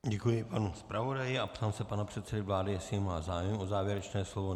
Děkuji panu zpravodaji a ptám se pana předsedy vlády, jestli má zájem o závěrečné slovo.